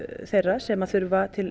þeirra sem þurfa til